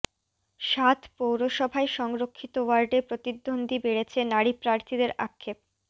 সাত পৌরসভায় সংরক্ষিত ওয়ার্ডে প্রতিদ্বন্দ্বী বেড়েছে নারী প্রার্থীদের আক্ষেপ